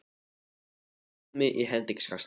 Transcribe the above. Hann flúði af hólmi í hendingskasti.